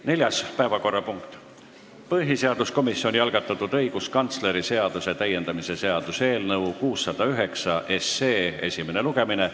Neljas päevakorrapunkt on põhiseaduskomisjoni algatatud õiguskantsleri seaduse täiendamise seaduse eelnõu 609 esimene lugemine.